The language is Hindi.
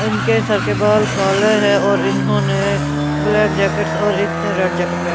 इनके सर के बाल काले हैं और इन्होंने ब्लैक जैकेट्स और एकने रेड जैकेट पे--